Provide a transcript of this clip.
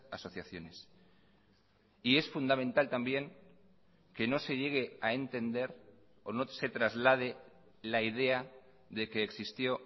asociaciones y es fundamental también que no se llegue a entender o no se traslade la idea de que existió